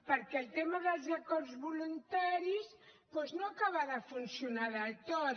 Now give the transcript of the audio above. perquè el tema dels acords voluntaris doncs no acaba de funcionar del tot